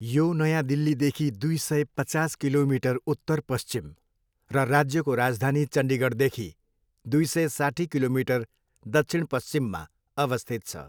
यो नयाँ दिल्लीदेखि दुई सय, पचास किलोमिटर उत्तर, पश्चिम र राज्यको राजधानी चन्डिगढदेखि दुई सय, साट्ठी किलोमिटर दक्षिण, पश्चिममा अवस्थित छ।